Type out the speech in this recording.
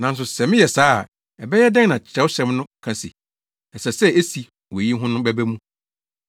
Nanso sɛ meyɛ saa a, ɛbɛyɛ dɛn na nea Kyerɛwsɛm no ka se ɛsɛ sɛ esi wɔ eyi ho no bɛba mu?”